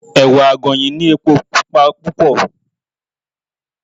Ẹ̀wà àgànyìn ní epo Pupa púpọ̀.